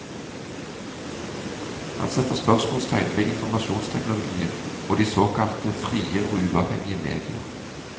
Han setter spørsmålstegn ved informasjonsteknologien og de såkalte frie og uavhengige medier.